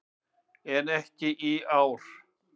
En ekki í ár.